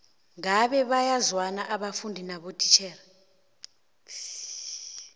ngabe bayazwana abafundi nabotitjhere